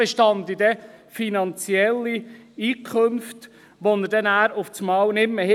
Es bestünden finanzielle Einkünfte, welche er dann nicht mehr hätte.